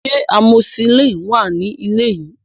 Ṣé amoxicillin wà nílé yìí?